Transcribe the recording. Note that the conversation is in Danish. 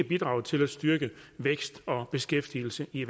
bidrage til at styrke vækst og beskæftigelse i